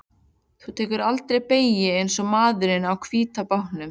Þú tekur aldrei beygjur eins og maðurinn á hvíta bátnum.